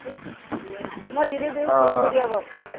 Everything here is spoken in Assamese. মই link টো দিও follow কৰি দিবা বাৰু